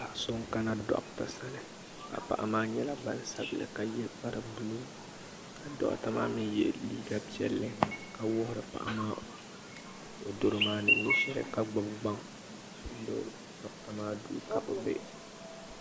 Paɣa so n kana doɣata sani ka paɣa maa nyɛla gbansabili ka ye kpari buluu ka doɣata maa mee ye liiga piɛlli ka wuhiri paɣa maa o doro maa ni nyɛ sheli ka gbibi gbaŋ doɣata maa duu ka bɛ be.